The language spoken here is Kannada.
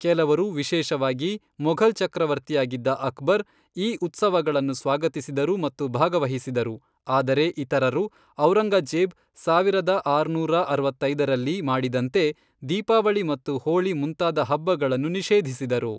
ಕೆಲವರು, ವಿಶೇಷವಾಗಿ ಮೊಘಲ್ ಚಕ್ರವರ್ತಿಯಾಗಿದ್ದ ಅಕ್ಬರ್, ಈ ಉತ್ಸವಗಳನ್ನು ಸ್ವಾಗತಿಸಿದರು ಮತ್ತು ಭಾಗವಹಿಸಿದರು, ಆದರೆ ಇತರರು, ಔರಂಗಜೇಬ್ ಸಾವಿರದ ಆರುನೂರ ಅರವತ್ತೈದರಲ್ಲಿ ಮಾಡಿದಂತೆ, ದೀಪಾವಳಿ ಮತ್ತು ಹೋಳಿ ಮುಂತಾದ ಹಬ್ಬಗಳನ್ನು ನಿಷೇಧಿಸಿದರು.